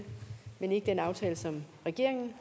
men ikke den aftale som regeringen